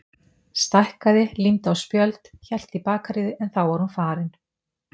Stækkaði, límdi á spjöld, hélt í bakaríið en þá var hún farin.